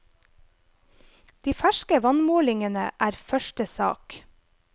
De ferske vannmålingene er første sak.